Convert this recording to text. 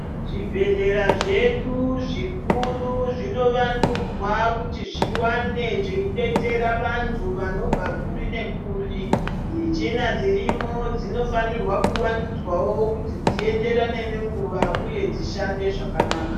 Zvibhedhlera zvedu zvikuru zvinovandudzwa kuti zviwane zveidetsera vantu vanobva kuri nekuri, michina dzirimo dzinofanirwa kuvandudzwawo kuti dzienderane nenguva uye dzishande zvakanaka.